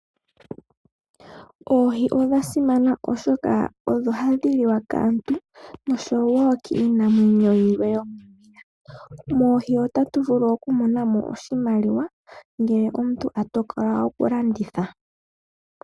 Oohii odhasimana oshoka odho hadhi liwa kaantu osho wo kiinamwenyo yimwe. Moohi otatuvulu okumona mo oshimaliwa ngele omuntu atokola okulanditha.